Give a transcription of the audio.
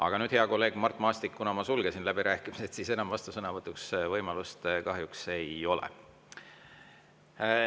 Aga nüüd, hea kolleeg Mart Maastik, kuna ma sulgesin läbirääkimised, siis enam vastusõnavõtuks võimalust kahjuks ei ole.